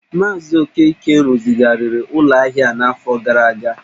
Maazị Okeke rụzigharịrị ụlọ ahịa a n’afọ gara aga.